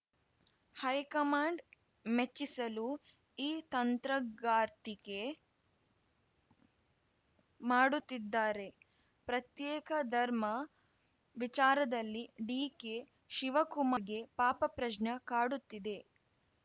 high command ಮೆಚ್ಚಿಸಲು ಈ ತಂತ್ರಗಾರಿಕೆ ಮಾಡುತ್ತಿದ್ದಾರೆ ಪ್ರತ್ಯೇಕ ಧರ್ಮ ವಿಚಾರದಲ್ಲಿ ಡಿಕೆಶಿವಕುಮಾರ್‌ಗೆ ಪಾಪ ಪ್ರಶ್ನೆ ಕಾಡುತ್ತಿದೆ